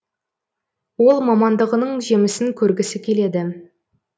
ол мамандығының жемісін көргісі келеді